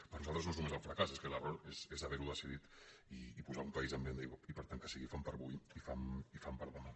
per nosaltres no és només el fracàs és que l’error és haver·ho decidit i posar un país en venda i per tant que sigui fam per a avui i fam per a demà